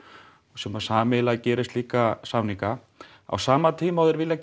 sem sameiginlega gerir slíka samninga á sama tíma og þeir vilja